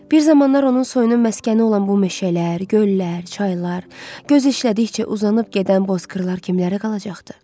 Bir zamanlar onun soyunun məskəni olan bu meşələr, göllər, çaylar, göz işlədikcə uzanıb gedən bozqırlar kimlərə qalacaqdı?